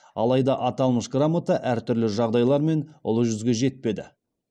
алайда аталмыш грамота әртүрлі жағдайлармен ұлы жүзге жетпеді